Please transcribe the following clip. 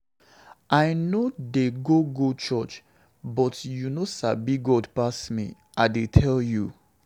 I no dey go go church but you no Sabi God pass me, I dey tell you.